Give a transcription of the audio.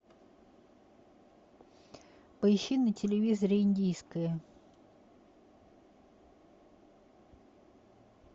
поищи на телевизоре индийское